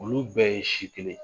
Olu bɛɛ ye si kelen